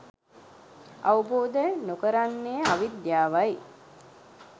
අවබෝධ නොකරන්නේ අවිද්‍යාවයි.